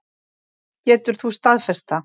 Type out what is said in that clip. Getur þú staðfest það?